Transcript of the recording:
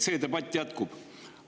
See debatt jätkub.